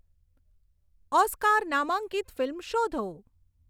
Oscar નામાંકિત film શોધો